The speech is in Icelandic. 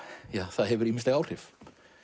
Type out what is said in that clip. það hefur ýmisleg áhrif